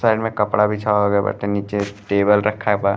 Side में कपड़ा बिछावा गए बाटे। नीचे टेबल रखा बा।